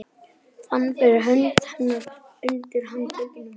Fann fyrir hönd hennar undir handleggnum.